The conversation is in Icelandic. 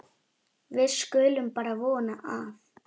Við skulum bara vona að